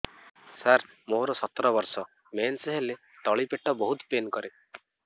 ସାର ମୋର ସତର ବର୍ଷ ମେନ୍ସେସ ହେଲେ ତଳି ପେଟ ବହୁତ ପେନ୍ କରେ